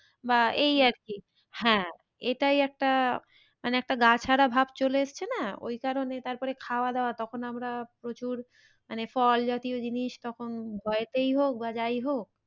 বা এই আর কি হ্যাঁ এটাই একটা মানে একটা গা ছাড়া ভাব চলে এসছে না ওই কারণে তারপরে খাওয়া দাওয়া তখন আমরা প্রচুর মানে ফল জাতীয় জিনিস তখন ঘরেতেই হোক বা যাই হোক